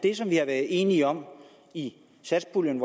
at enige om i satspuljen